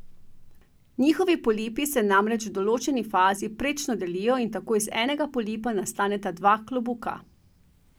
Njihovi polipi se namreč v določeni fazi prečno delijo in tako iz enega polipa nastaneta dva klobuka.